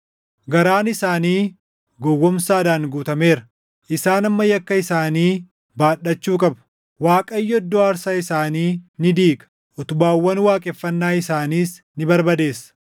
Garaan isaanii gowwoomsaadhaan guutameera; isaan amma yakka isaanii baadhachuu qabu. Waaqayyo iddoo aarsaa isaanii ni diiga; utubaawwan waaqeffannaa isaaniis ni barbadeessa.